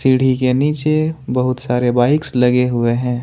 सीढ़ी के नीचे बहुत सारे बाइक्स लगे हुए है।